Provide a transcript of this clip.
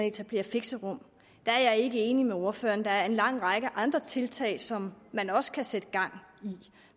etablere fixerum der er jeg ikke enig med ordføreren der er en lang række andre tiltag som man også kan sætte i gang